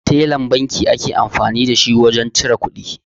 Tellan banki ake amfani da wurin cire kuɗi